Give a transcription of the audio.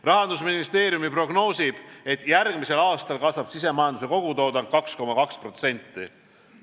Rahandusministeerium prognoosib, et järgmisel aastal kasvab sisemajanduse kogutoodang 2,2%.